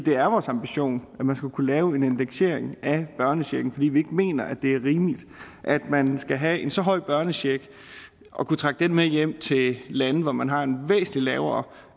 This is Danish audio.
er vores ambition at man skal kunne lave en indeksering af børnecheken fordi vi mener ikke at det er rimeligt at man skal have en så høj børnecheck og kunne trække den med hjem til lande hvor man har en væsentlig lavere